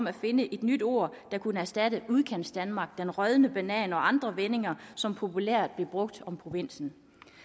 at finde et nyt ord der kunne erstatte udkantsdanmark den rådne banan og andre vendinger som populært blev brugt om provinsen